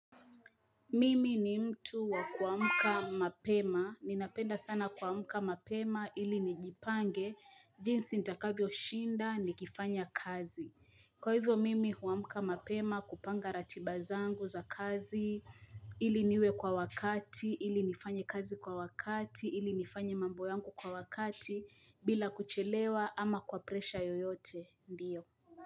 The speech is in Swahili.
Mimi ni mtu wa kuamka mapema. Ninapenda sana kuamka mapema ili nijipange jinsi nitakavyo shinda nikifanya kazi. Kwa hivyo, Mimi huamka mapema kupanga ratiba zangu za kazi ili niwe kwa wakati, ili nifanye kazi kwa wakati, ili nifanye mambo yangu kwa wakati bila kuchelewa ama kwa presha yoyote. Ndiyo.